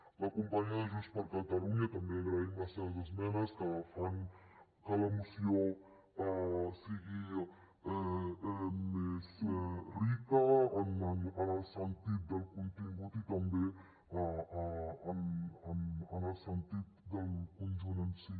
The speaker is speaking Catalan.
a la companya de junts per catalunya també li agraïm les seves esmenes que fan que la moció sigui més rica en el sentit del contingut i també en el sentit del conjunt en si